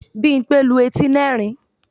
Bímpé lu etí nerin